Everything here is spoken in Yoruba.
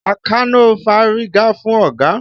Àkànó fárígá fún ọ̀gá.